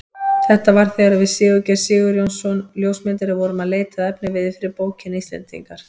Þetta var þegar við Sigurgeir Sigurjónsson ljósmyndari vorum að leita að efniviði fyrir bókina Íslendingar.